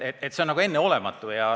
See on enneolematu!